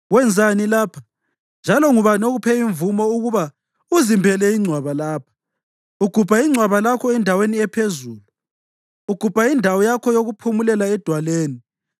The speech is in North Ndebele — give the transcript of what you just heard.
Wenzani lapha, njalo ngubani okuphe imvumo ukuba uzimbele ingcwaba lapha, ugubha ingcwaba lakho endaweni ephezulu, ugubha indawo yakho yokuphumula edwaleni?”